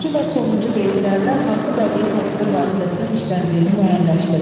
Üçüncü və sonuncu beytlərdə hansı bədii təsvir vasitəsinin işləndiyini müəyyənləşdirin.